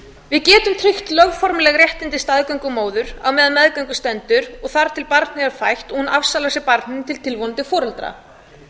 við getum tryggt lögformleg réttindi staðgöngumóður á meðan á meðgöngu stendur og þangað til barnið er fætt og hún afsalar sér barninu til tilvonandi foreldra